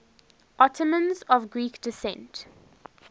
ottomans of greek descent